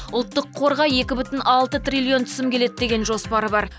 ұлттық қорға екі бүтін алты триллион түсім келеді деген жоспар бар